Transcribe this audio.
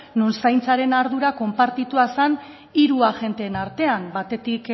non zaintzaren ardura konpartitua zen hiru agenteen artean batetik